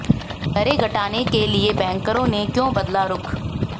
दरें घटाने के लिए बैंकरों ने क्यों बदला रुख